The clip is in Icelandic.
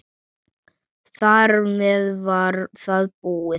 Þar með var það búið.